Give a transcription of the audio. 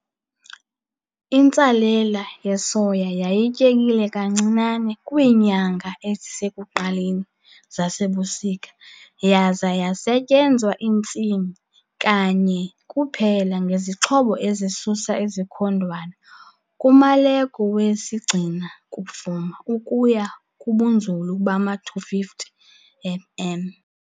Intsalela yesoya yayityekile kancinane kwiinyanga ezisekuqaleni zasebusika yaza yasetyenzwa intsimi kanye kuphela ngezixhobo ezisusa izikhondwana kumaleko wesigcina-kufuma ukuya kubunzulu bama-250 mm.